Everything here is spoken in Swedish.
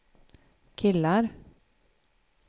killar